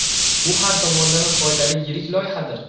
Bu har tomonlama foydali yirik loyihadir.